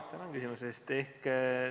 Tänan küsimuse eest!